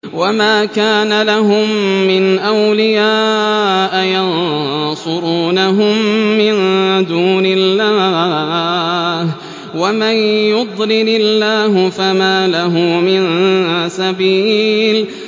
وَمَا كَانَ لَهُم مِّنْ أَوْلِيَاءَ يَنصُرُونَهُم مِّن دُونِ اللَّهِ ۗ وَمَن يُضْلِلِ اللَّهُ فَمَا لَهُ مِن سَبِيلٍ